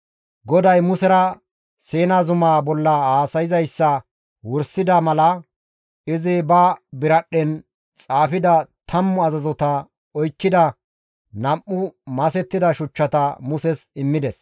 GODAY Musera Siina zumaa bolla haasayzayssa wursida mala izi ba biradhdhen xaafida tammu azazota oykkida nam7u masettida shuchchata Muses immides.